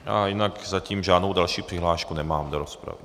A jinak zatím žádnou další přihlášku nemám do rozpravy.